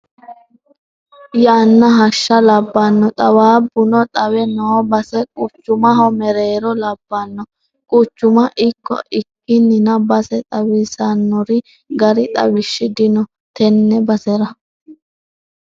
Yanna hashsha labbano xaawabbuno xawe no base quchumaho mereero labbano quchuma ikko ikkininna base xawisanori gari xawishshi dino tene basera